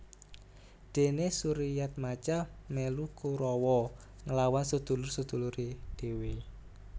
Dene Suryatmaja melu Kurawa nglawan sedulur sedulure dhewe